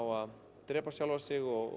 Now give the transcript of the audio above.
að drepa sjálfan sig og